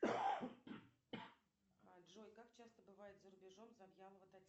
джой как часто бывает за рубежом завьялова татьяна